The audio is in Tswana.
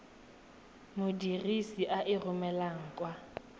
modirisi a e romelang kwa